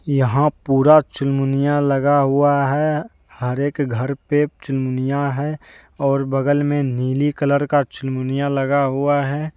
यहां पूरा चुनमुनिया लगा हुआ है हर एक घर पे चुनमुनिया है और बगल में नीली कलर का चुनमुनिया लगा हुआ है।